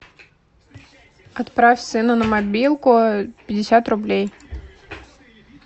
отправь сыну на мобилку пятьдесят рублей